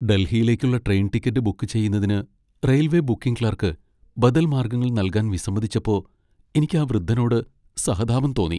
ഡൽഹിയിലേക്കുള്ള train ticket book ചെയ്യുന്നതിന് railway booking clerk ബദൽ മാർഗ്ഗങ്ങൾ നൽകാൻ വിസമ്മതിച്ചപ്പോ എനിക്ക് ആ വൃദ്ധനോട് സഹതാപം തോന്നി.